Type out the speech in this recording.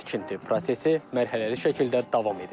Tikinti prosesi mərhələli şəkildə davam edir.